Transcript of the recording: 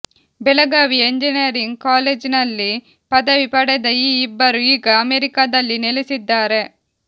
ಬೆಳಗಾವಿಯ ಇಂಜಿನೀಯರಿಂಗ್ ಕಾಲೇಜಿನಲ್ಲಿ ಪದವಿ ಪಡೆದ ಈ ಇಬ್ಬರು ಈಗ ಅಮೆರಿಕಾದಲ್ಲಿ ನೆಲೆಸಿದ್ದಾರೆ